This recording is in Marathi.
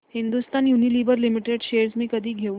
हिंदुस्थान युनिलिव्हर लिमिटेड शेअर्स मी कधी घेऊ